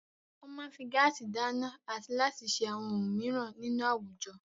Wọ́n máa ń fi gáásì dáná àti láti ṣe àwọn ohun mìíràn nínú àwùjọ.